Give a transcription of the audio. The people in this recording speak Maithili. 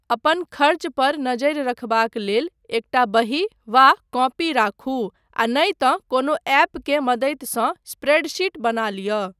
अपन खर्च पर नजरि रखबाक लेल एकटा बही वा कॉपी राखू आ नहि तँ कोनो ऐपकेँ मदतिसँ स्प्रेडशीट बना लिअ।